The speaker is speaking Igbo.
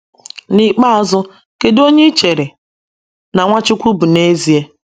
N’ikpeazụ ,kedu onye ịchere na Nwachukwu bụ n’ezie?